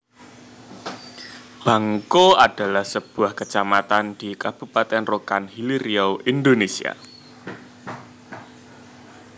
Bangko adalah sebuah kecamatan di Kabupaten Rokan Hilir Riau Indonesia